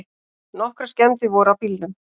Nokkrar skemmdir voru á bílnum.